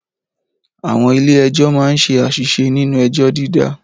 Àwọn ilé Ẹjọ́ máa ń ṣe àṣìṣe nínú ẹjọ́ dídá